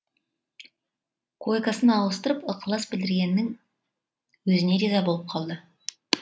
койкасын ауыстырып ықылас білдіргеннің өзіне риза болып қалды